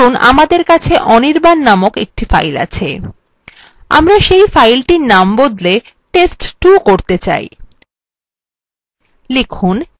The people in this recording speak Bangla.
ধরুন আমাদের কাছে anirban named একটি file আছে আমরা say file named বদলে test2 করতে say